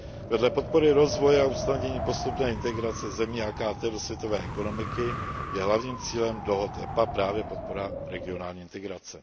Vedle podpory rozvoje a usnadnění postupné integrace zemí AKT do světové ekonomiky je hlavním cílem dohod EPA právě podpora regionální integrace.